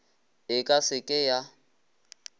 e ka se ke ya